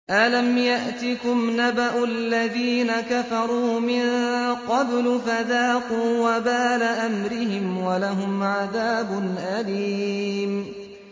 أَلَمْ يَأْتِكُمْ نَبَأُ الَّذِينَ كَفَرُوا مِن قَبْلُ فَذَاقُوا وَبَالَ أَمْرِهِمْ وَلَهُمْ عَذَابٌ أَلِيمٌ